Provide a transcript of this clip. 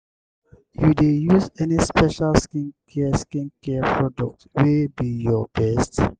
you dey use any special skincare skincare products wey be your best?